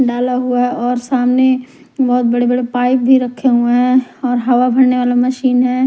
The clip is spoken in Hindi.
डाला हुआ और सामने बहोत बड़े बड़े पाइप भी रखे हुए हैं और हवा भरने वाला मशीन हैं।